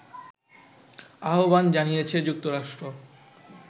আহ্বান জানিয়েছে যুক্তরাষ্ট্র